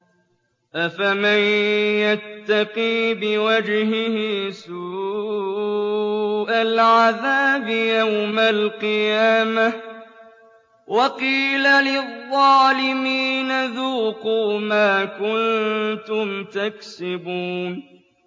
أَفَمَن يَتَّقِي بِوَجْهِهِ سُوءَ الْعَذَابِ يَوْمَ الْقِيَامَةِ ۚ وَقِيلَ لِلظَّالِمِينَ ذُوقُوا مَا كُنتُمْ تَكْسِبُونَ